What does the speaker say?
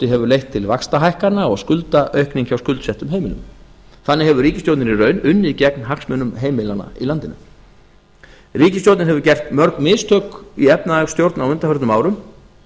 leitt til vaxtahækkana og skuldaaukningar hjá skuldsettum heimilum þannig hefur ríkisstjórnin í raun unnið gegn hagsmunum heimilanna í landinu ríkisstjórnin hefur gert mörg mistök í efnahagsstjórn á undanförnum árum